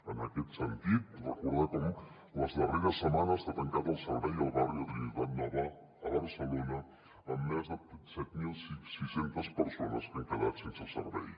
en aquest sentit recordar com les darreres setmanes s’ha tancat el servei al barri de trinitat nova a barcelona amb més de set mil sis cents persones que han quedat sense servei